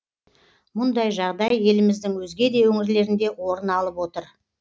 мұндай жағдай еліміздің өзге де өңірлерінде орын алып отыр